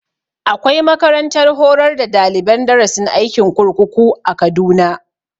Akwai makarantar horar da daliban darasin aikin kurkuku a kaduna